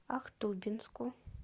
ахтубинску